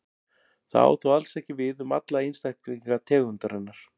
Það á þó alls ekki við um alla einstaklinga tegundarinnar.